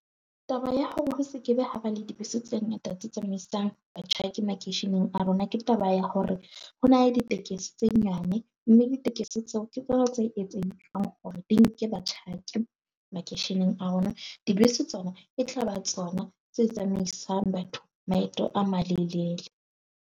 Taba ya hore ho se ke be ha ba le dibese tse ngata tse tsamaisang batjhaki makeisheneng a rona, ke taba ya hore ho na le ditekesi tse nyane. Mme ditekesi tseo ke tseo tse hore di nke ba batjhaki makeisheneng a rona. Dibese tsona e tla ba tsona tse tsamaisang batho. Maeto a malelele.